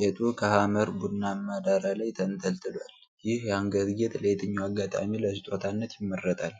ጌጡ ከሐመር ቡናማ ዳራ ላይ ተንጠልጥሏል። ይህ የአንገት ጌጥ ለየትኛው አጋጣሚ ለስጦታነት ይመረጣል?